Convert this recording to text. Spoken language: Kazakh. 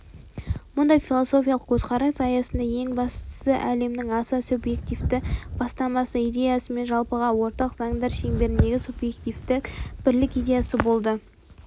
мұндай философиялық көзқарас аясында ең бастысы әлемнің аса субъективтік бастамасы идеясы мен жалпыға ортақ заңдар шеңберіндегі субъективтік бірлік идеясы болды